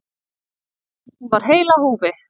Hún var heil á húfi.